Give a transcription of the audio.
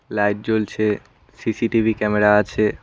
Light জ্বলছে CCTV camera আছে।